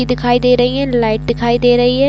दिखाई दे रही है लाइट दिखाई दे रही है।